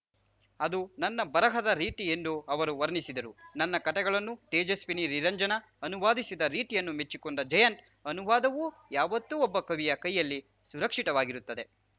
ಅದು ನನ್ನ ಬರಹದ ರೀತಿ ಎಂದು ಅವರು ವರ್ಣಿಸಿದರು ತನ್ನ ಕತೆಗಳನ್ನು ತೇಜಸ್ವಿನಿ ನಿರಂಜನ ಅನುವಾದಿಸಿದ ರೀತಿಯನ್ನು ಮೆಚ್ಚಿಕೊಂಡ ಜಯಂತ್‌ ಅನುವಾದವು ಯಾವತ್ತೂ ಒಬ್ಬ ಕವಿಯ ಕೈಯಲ್ಲಿ ಸುರಕ್ಷಿತವಾಗಿರುತ್ತದೆ